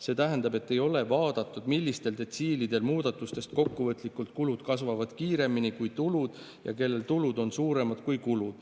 See tähendab, et ei ole vaadatud, millistel detsiilidel muudatustest kokkuvõtlikult kulud kasvavad kiiremini kui tulud või kellel tulud on suuremad kui kulud.